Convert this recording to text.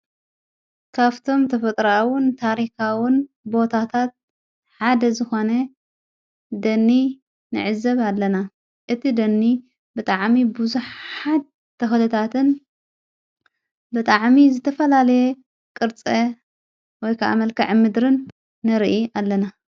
ካፍቶም ተፈጥራዉን ታሪኻዉን ቦታታት ሓደ ዝኾነ ደኒ ነዕዘብ ኣለና እቲ ደኒ ብጥ ዓሚ ብዙኅ ሓድ ተወለታትን በጥ ዓሚ ዘተፈላለየ ቕርጸ ወይኣመልካዐ ምድርን ነርኢ ኣለና::